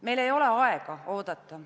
Meil ei ole aega oodata.